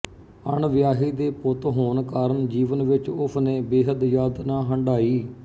ਅਣਵਿਆਹੀ ਦੇ ਪੁੱਤ ਹੋਣ ਕਾਰਨ ਜੀਵਨ ਵਿਚ ਉਸਨੇ ਬੇਹੱਦ ਯਾਤਨਾ ਹੰਢਾਈ